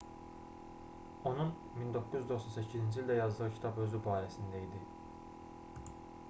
onun 1998-ci ildə yazdığı kitab özü barəsində idi